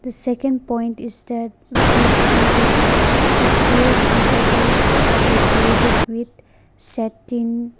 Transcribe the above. second point is that we can see that the chairs and tables are decorated with satin--